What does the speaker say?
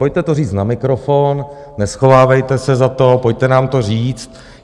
Pojďte to říct na mikrofon, neschovávejte se za to, pojďte nám to říct.